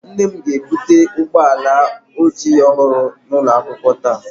Nne m ga-ebute ụgbọ ala ojii ọhụrụ n'ụlọ akwụkwọ taa